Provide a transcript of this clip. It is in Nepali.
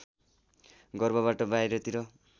गर्भबाट बाहिरतिर